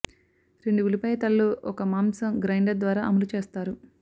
రెండు ఉల్లిపాయ తలలు ఒక మాంసం గ్రైండర్ ద్వారా అమలు చేస్తారు